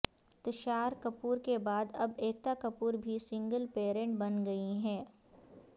تشار کپور کے بعد اب ایکتا کپور بھی سنگل پیرنٹ بن گئی ہیں